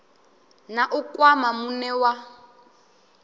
na u kwama muṋe wa